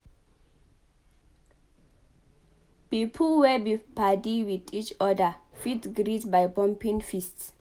Pipo wey be padi with each oda fit greet by bumping fists